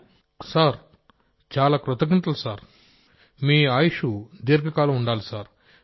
Rajesh Prajapati sir చాలా కృతజ్ఞతలు సార్మీ ఆయుష్షు దీర్ఘకాలం ఉండాలి సార్